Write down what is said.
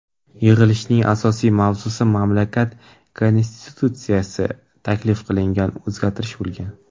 Yig‘ilishning asosiy mavzusi mamlakat Konstitutsiyasiga taklif qilingan o‘zgartirish bo‘lgan.